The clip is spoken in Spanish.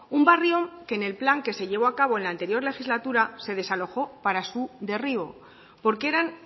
un barrio que en el plan que se llevó a cabo en la anterior legislatura se desalojó para su derribo porque eran